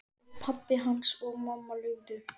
Ef pabbi hans og mamma leyfðu.